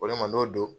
Ko ne ma n'o don